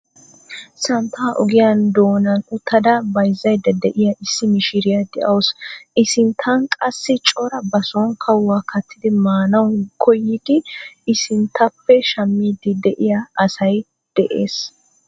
Santtaa ogiyaa doonan uttada bayzzayda de'iya issi mishiriya de'awusu. I sinttan qassi cora ba sooni kawuwa kaattidi maanawu koyidi I sinttappe shammiiddi de'iya asay de'ees.